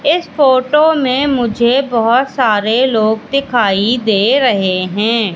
इस फोटो में मुझे बहोत सारे लोग दिखाई दे रहे हैं।